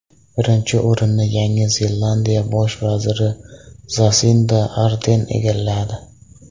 Birinchi o‘rinni Yangi Zelandiya bosh vaziri Zasinda Arden egalladi.